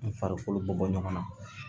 N farikolo bɔ bɔ ɲɔgɔn na